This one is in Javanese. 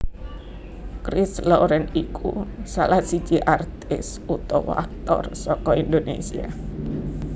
Christ Laurent iku salah siji artis utawa aktor saka Indonesia